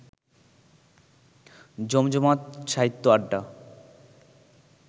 জমজমাট সাহিত্য আড্ডা